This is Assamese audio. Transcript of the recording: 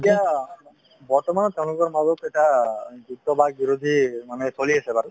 এতিয়া বৰ্তমানত তেওঁলোকৰ মাজত এটা যুদ্ধ বাক্ বিৰোধী মানে চলি আছে বাৰু